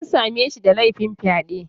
An same shi da laifin fyaɗe